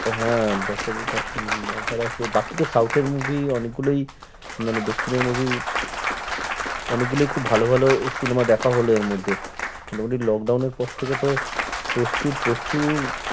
হ্যাঁ ডক্টরজিটা উম মজার আছে বাকি তো south এর movie অনেক গুলোই মানে দক্ষিণের movie অনেক গুলোই খুব ভালো ভালো cinema দেখা হলো এর মধ্যে। মোটামুটি lockdown এর পর থেকে তো প্রচুর প্রচুর